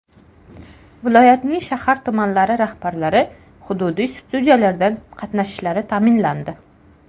Viloyatning shahar-tumanlari rahbarlari hududiy studiyalardan qatnashishlari ta’minlandi.